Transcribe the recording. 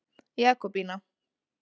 Jakobína